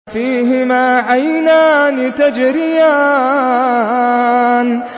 فِيهِمَا عَيْنَانِ تَجْرِيَانِ